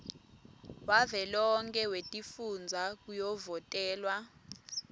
wavelonkhe wetifundza kuyovotelwa